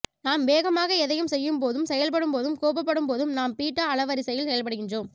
நாம் வேகமாக எதையும் செய்யும் போதும் செயல்படும்போதும் கோபப்படும் போதும் நாம் பீட்டா அலைவரிசையில் செயல்படுகின்றோம்